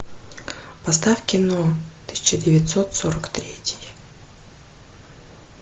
поставь кино тысяча девятьсот сорок третий